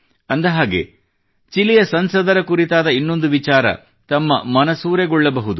ಅಂದ ಹಾಗೆ ಚಿಲಿಯ ಸಂಸದರ ಕುರಿತಾದ ಇನ್ನೊಂದು ವಿಚಾರ ತಮ್ಮ ಮನಸೂರೆಗೊಳ್ಳಬಹುದು